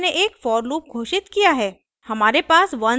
इस उदाहरण में मैंने एक for लूप घोषित किया है